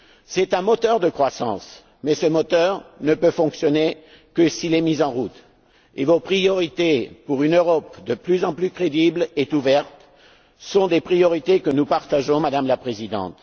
C'est un moteur de croissance, mais ce moteur ne peut fonctionner que s'il est mis en route, et vos priorités pour une Europe de plus en plus crédible et ouverte, nous les partageons, Madame la Présidente.